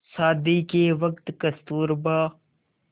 शादी के वक़्त कस्तूरबा